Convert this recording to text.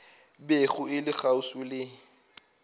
bego e le kgauswi le